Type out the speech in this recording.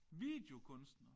Videokunstner?